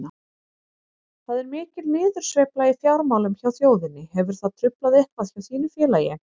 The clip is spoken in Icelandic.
Það er mikil niðursveifla í fjármálum hjá þjóðinni, hefur það truflað eitthvað hjá þínu félagi?